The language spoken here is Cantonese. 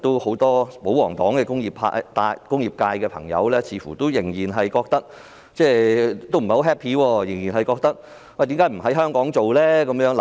很多保皇黨的工業界朋友似乎不太高興，他們也質疑為何不在香港製造口罩。